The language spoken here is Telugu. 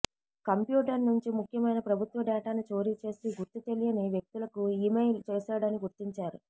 కంప్యూటర్ నుంచి ముఖ్యమైన ప్రభుత్వ డేటాను చోరీ చేసి గుర్తు తెలియని వ్యక్తులకు ఈమెయిల్ చేశాడని గుర్తించారు